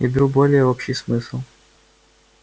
я беру более общий смысл